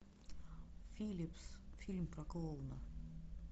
филипс фильм про клоуна